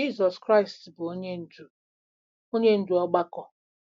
Jizọs Kraịst bụ onye ndú onye ndú ọgbakọ.